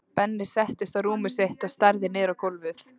Benni settist á rúmið sitt og starði niður á gólfið.